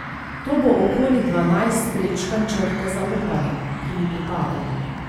To bo okoli dvanajst prečkanj črte zaupanja, ki mi pripadajo.